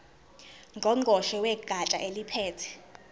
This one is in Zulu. ngqongqoshe wegatsha eliphethe